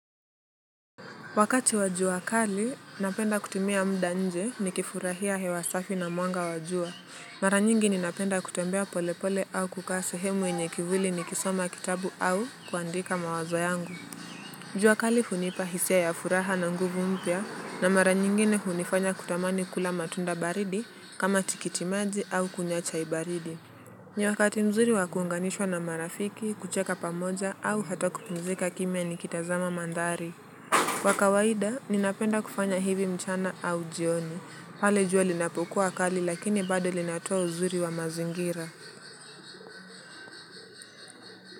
Wakati wa jua kali, napenda kutumia muda nje nikifurahia hewa safi na mwanga wa jua. Mara nyingi ninapenda kutembea polepole au kukaa sehemu yenye kivuli nikisoma kitabu au kuandika mawazo yangu. Jua kali hunipa hisia ya furaha na nguvu mpya na mara nyingine hunifanya kutamani kula matunda baridi kama tikitimaji au kunywa chai baridi. Nyakati mzuri wakuunganishwa na marafiki, kucheka pamoja au hata kupumzika kimya nikitazama mandhari. Kwa kawaida, ninapenda kufanya hivi mchana au jioni. Pale jua linapokua kali lakini bado linatoa uzuri wa mazingira.